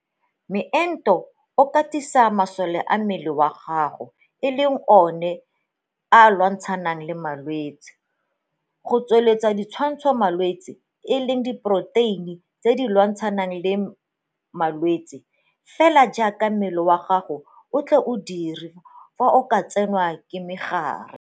Moento o katisa masole a mmele wa gago, a e leng one a lwantshanang le bolwetse, go tsweletsa ditwantshamalwetse, e leng diporoteine tse di lwantshanang le ma lwetse, - fela jaaka mmele wa gago o a tle o dire fa o ka tsenwa ke mogare.